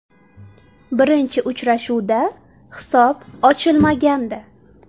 Birinchi uchrashuvda hisob ochilmagandi .